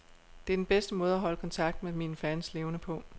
Det er den bedste måde at holde kontakten med mine fans levende på.